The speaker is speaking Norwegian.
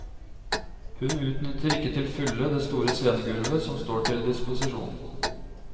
Hun utnytter ikke til fulle det store scenegulvet som står til disposisjon.